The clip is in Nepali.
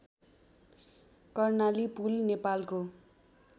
कर्णाली पुल नेपालको